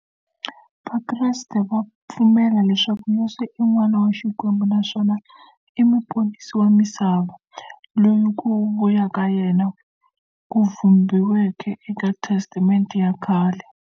Vakreste va pfumela leswaku Yesu i n'wana wa Xikwembu naswona i muponisi wa misava, loyi ku vuya ka yena ku vhumbiweke eka testamente ya khale.